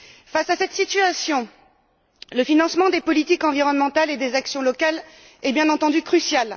Face à cette situation, le financement des politiques environnementales et des actions locales est bien entendu crucial.